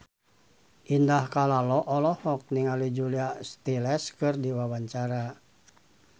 Indah Kalalo olohok ningali Julia Stiles keur diwawancara